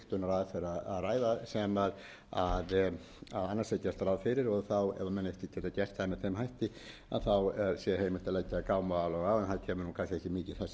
að ræða sem annars er gert ráð fyrir og ef ekki menn ekki geta gert það með þeim hætti sé heimilt að leggja gámaálag á en það